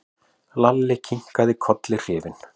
Lalli kinkaði kolli hrifinn.